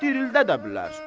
Dirildə də bilər.